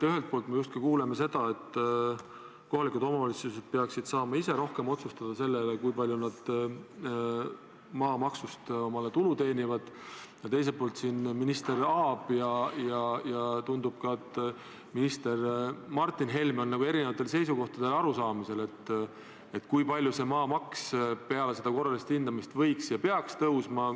Ühelt poolt me kuuleme seda, et kohalikud omavalitsused peaksid saama ise rohkem otsustada selle üle, kui palju nad maamaksust omale tulu teenivad, aga teiselt poolt minister Aab ja tundub ka, et minister Martin Helme on erinevatel seisukohtadel, kui palju peaks maamaks peale seda korralist hindamist tõusma.